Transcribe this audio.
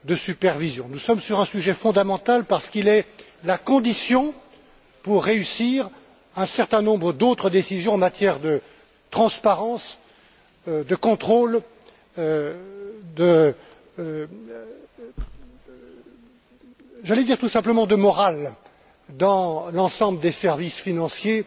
C'est un sujet fondamental parce qu'il est la condition pour réussir un certain nombre d'autres décisions en matière de transparence, de contrôle, et j'allais dire tout simplement de morale, dans l'ensemble des services financiers